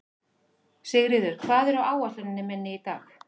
Sigríður, hvað er á áætluninni minni í dag?